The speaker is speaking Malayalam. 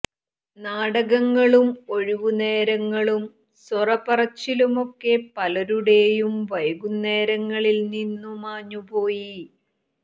നാടകങ്ങളും ഒഴിവു നേരങ്ങളും സൊറ പറച്ചിലുമൊക്കെ പലരുടേയും വൈകുന്നേരങ്ങളിൽ നിന്നും മാഞ്ഞു പോയി